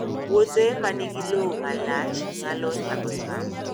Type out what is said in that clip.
Puothe ma nigi lowo ma lach nyalo nyago cham